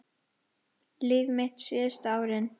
Líf mitt síðustu árin.